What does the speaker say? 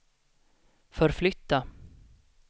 förflytta